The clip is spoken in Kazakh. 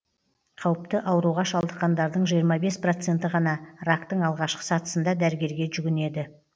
қауіпті ауруға шалдыққандардың жиырма бес проценті ғана рактың алғашқы сатысында дәрігерге жүгінеді